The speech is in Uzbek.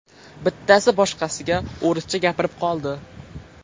Bittasi boshqasiga o‘rischa gapirib qoldi.